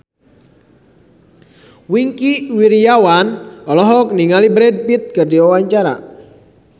Wingky Wiryawan olohok ningali Brad Pitt keur diwawancara